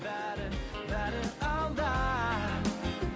бәрі бәрі алда